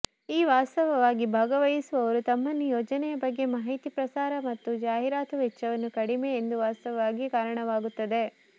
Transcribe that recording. ಈ ವಾಸ್ತವವಾಗಿ ಭಾಗವಹಿಸುವವರು ತಮ್ಮನ್ನು ಯೋಜನೆಯ ಬಗ್ಗೆ ಮಾಹಿತಿ ಪ್ರಸಾರ ಮತ್ತು ಜಾಹೀರಾತು ವೆಚ್ಚವನ್ನು ಕಡಿಮೆ ಎಂದು ವಾಸ್ತವವಾಗಿ ಕಾರಣವಾಗುತ್ತದೆ